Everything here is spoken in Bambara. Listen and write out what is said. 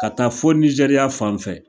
Ka taa fo Nigéria fan fɛ